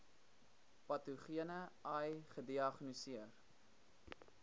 patogene ai gediagnoseer